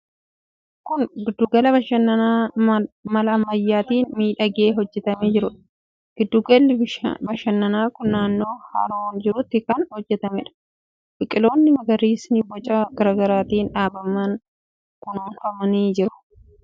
Kun giddugala bashannanaa mala ammayyaatiin miidhagee hojjetamee jiruudha. Giddugalli bashannanaa kun naannoo haroon jirutti kan hojjetameedha. Biqiltoonni magariisni boca garaa garaatiin dhaabaman kunuunfamanii jiru. Manneen mimmiidhagoon keessatti boqotanis ijaaramanii jiru.